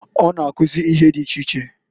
O na-akụzị ihe di iche iche.